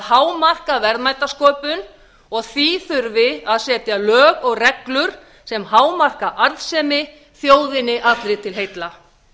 hámarka verðmætasköpun og því þurfi að setja lög og reglur sem hámarka arðsemi þjóðinni allri til heilla